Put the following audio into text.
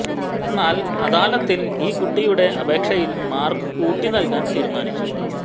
എന്നാൽ അദാലത്തിൽ ഈ കുട്ടിയുടെ അപേക്ഷയിൽ മാർക്ക് കൂട്ടി നൽകാൻ തീരുമാനിച്ചു